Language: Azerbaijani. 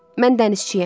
Mən dənizçiyəm.